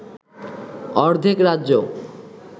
অর্ধেক রাজ্য